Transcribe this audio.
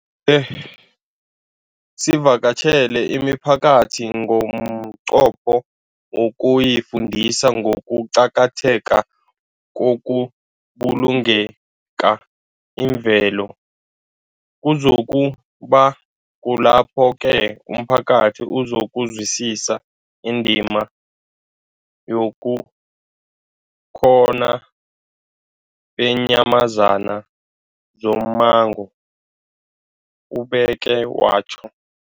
e sivakatjhele imiphakathi ngomnqopho wokuyifundisa ngokuqakatheka kokubulunga imvelo. Kuzoku ba kulapho-ke umphakathi uzokuzwisisa indima yobukhona beenyamazana zommango, ubeke watjho.